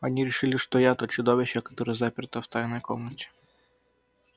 они решили что я то чудовище которое заперто в тайной комнате